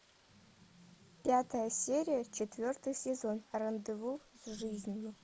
пятая серия четвертый сезон рандеву с жизнью